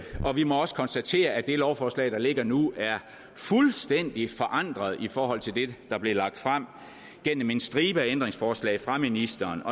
og vi må også konstatere at det lovforslag der ligger nu er fuldstændig forandret i forhold til det der blev lagt frem gennem en stribe ændringsforslag fra ministeren